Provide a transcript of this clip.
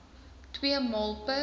twee maal per